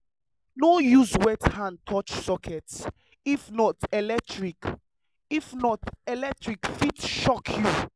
no use wet hand touch socket if not electric if not electric fit shock you.